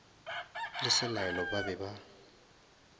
le selaelo ba be ba